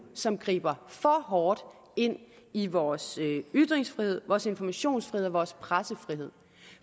som griber for hårdt ind i vores ytringsfrihed vores informationsfrihed og vores pressefrihed